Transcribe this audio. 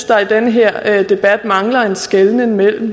der i den her debat mangler en skelnen mellem